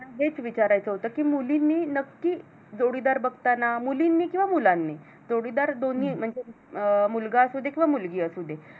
हेच विचारायचं होती की मुलींनी नक्की जोडीदार बघताना मुलींनी किंवा मुलांनी जोडीदार दोन्ही म्हणजे मुलगा असू दे किंवा मुलगी असू दे.